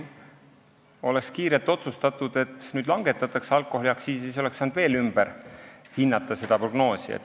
Kui oleks kiirelt otsustatud, et nüüd langetatakse alkoholiaktsiisi, siis oleks saanud selle prognoosi veel ümber hinnata.